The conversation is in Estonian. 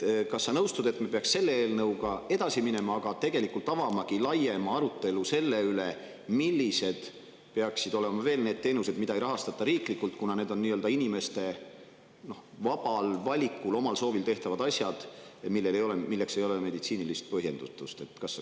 Kas sa nõustud sellega, et me peaksime selle eelnõuga edasi minema, aga samas avama ka laiema arutelu selle üle, kas on veel teisigi teenuseid, mida ei peaks riiklikult rahastama, kuna need on nii-öelda inimeste vabal valikul, omal soovil tehtavad asjad, milleks ei ole meditsiinilist põhjendust?